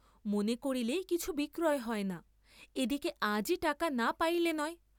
মনে করিলেই কিছু বিক্রয় হয় না, এদিকে আজই টাকা না পাইলে নয়।